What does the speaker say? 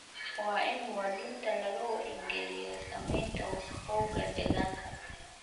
Waa in muwaadiniinta laga wacyi geliyo saamaynta wasakhowga deegaanka.